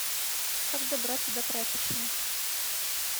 как добраться до прачечной